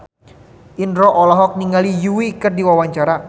Indro olohok ningali Yui keur diwawancara